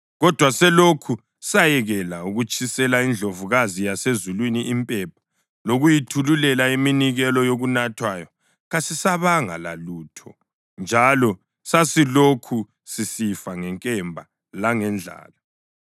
Kodwa selokhu sayekela ukutshisela iNdlovukazi yaseZulwini impepha lokuyithululela iminikelo yokunathwayo, kasisabanga lalutho njalo sesilokhu sisifa ngenkemba langendlala.”